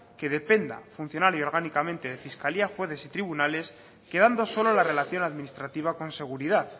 que depende funcional y orgánicamente de fiscalía jueces y tribunales quedando solo la relación administrativa con seguridad